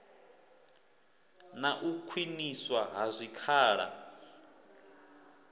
na u khwiniswa ha zwikhala